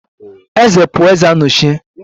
Eze pụọ, eze anọchie